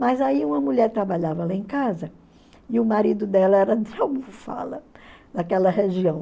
Mas aí uma mulher trabalhava lá em casa e o marido dela era de naquela região.